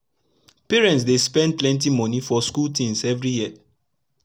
parents dey spend plenty moni for school tins everi year